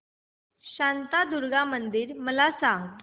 शांतादुर्गा मंदिर मला सांग